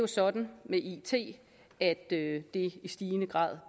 sådan at det i stigende grad